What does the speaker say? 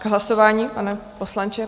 K hlasování, pane poslanče?